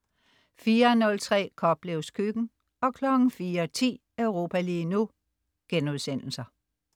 04.03 Koplevs Køkken* 04.10 Europa lige nu*